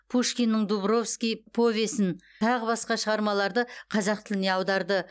а пушкиннің дубровский повесін тағы басқа шығармаларды қазақ тіліне аударды